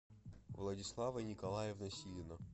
владислава николаевна силина